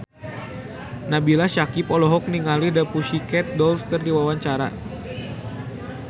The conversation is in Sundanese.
Nabila Syakieb olohok ningali The Pussycat Dolls keur diwawancara